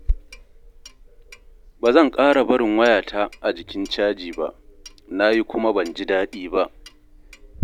Ba zan ƙara barin wayata a jikin caji ba, na yi kuma ban ji daɗi ba